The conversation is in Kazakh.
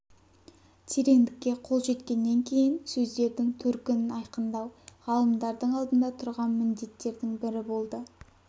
теңдікке қол жеткеннен кейін сөздердің төркінін айқындау ғалымдардың алдында тұрған міндеттердің бірі болды